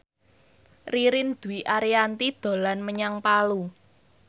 Ririn Dwi Ariyanti dolan menyang Palu